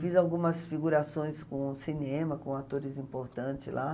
Fiz algumas figurações com cinema, com atores importantes lá.